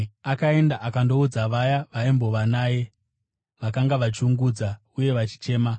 Akaenda akandoudza vaya vaimbova naye, vakanga vachiungudza uye vachichema.